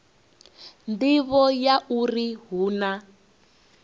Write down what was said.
nḓivho ya uri hu na